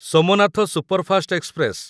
Somnath superfast express